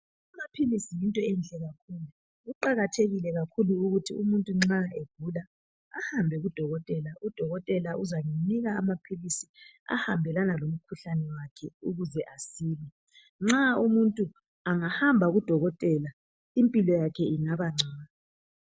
Amaphilisi yinto enhle kakhulu. Kuqakathekile kakhulu ukuthi umuntu nxa egula ahambe kudokotela, udokotela uzamnika amaphilisi ahambelana lomkhuhlane wakhe ukuze asile. Nxa umuntu angahamba kudokotela impilo yakhe ingaba ngcono.